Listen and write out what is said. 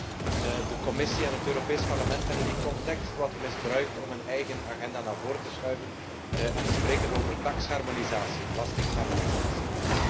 Helaas, de Commissie en het Europees Parlement hebben die context wat misbruikt om hun eigen agenda naar voor te schuiven en te spreken over taksharmonisatie, belastingharmonisatie.